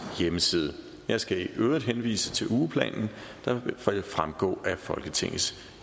hjemmeside jeg skal i øvrigt henvise til ugeplanen der vil fremgå af folketingets